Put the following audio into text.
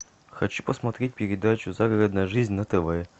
хочу посмотреть передачу загородная жизнь на тв